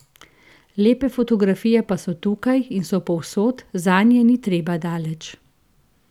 Lepe fotografije pa so tukaj in so povsod, zanje ni treba daleč.